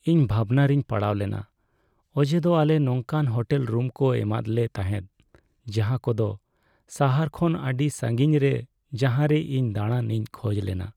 ᱤᱧ ᱵᱷᱟᱵᱽᱱᱟ ᱨᱮᱧ ᱯᱟᱲᱟᱣᱞᱮᱱᱟ ᱚᱡᱮᱫᱚ ᱟᱞᱮ ᱱᱚᱝᱠᱟᱱ ᱦᱳᱴᱮᱞ ᱨᱩᱢ ᱠᱚ ᱮᱢᱟᱫᱞᱮ ᱛᱟᱦᱮᱸᱫ ᱡᱟᱦᱟᱸ ᱠᱚᱫᱚ ᱥᱟᱦᱟᱨ ᱠᱷᱚᱱ ᱟᱹᱰᱤ ᱥᱟᱺᱜᱤᱧ ᱨᱮ ᱡᱟᱦᱟᱸᱨᱮ ᱤᱧ ᱫᱟᱬᱟᱱ ᱤᱧ ᱠᱷᱚᱡ ᱞᱮᱱᱟ ᱾